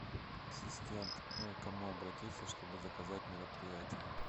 ассистент к кому обратиться чтобы заказать мероприятие